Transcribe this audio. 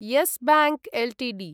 yes Bank Ltd